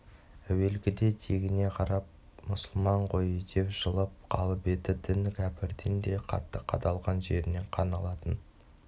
әуелгіде тегіне қарап мұсылман ғой деп жылып қалып еді дін кәпірден де қатты қадалған жерінен қан алатын